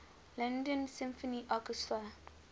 london symphony orchestra